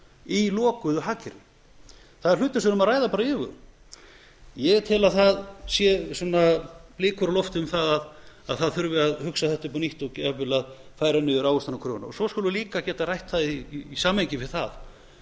í lokuðu hagkerfi það er hlutur sem við þurfum bara að ræða af yfirvegun ég tel að það séu blikur á lofti um að það þurfi að hugsa þetta upp á nýtt og jafnvel að færa niður ávöxtunarkröfuna svo skulum við líka ræða það í samhengi við það